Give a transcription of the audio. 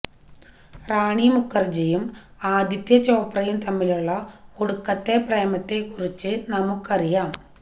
റാണി മുഖര്ജിയും ആദ്യത്യ ചോപ്രയും തമ്മിലുള്ള ഒടുക്കത്തെ പ്രേമത്തെ കുറിച്ച് നമുക്കറിയാം